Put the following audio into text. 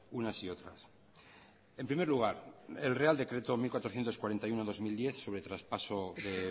unas y otras en primer lugar el real decreto mil cuatrocientos cuarenta y uno barra dos mil diez sobre traspaso de